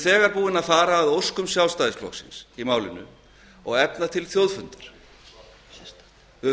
við höfum þegar farið að óskum sjálfstæðisflokksins í málinu og efnt til þjóðfundar við höfum